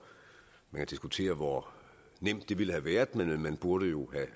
og man kan diskutere hvor nemt det ville have været men man burde jo